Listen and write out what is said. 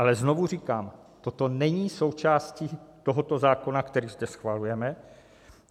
Ale znovu říkám, toto není součástí tohoto zákona, který zde schvalujeme.